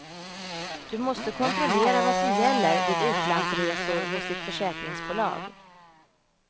Du måste kontrollera vad som gäller vid utlandsresor hos ditt försäkringsbolag.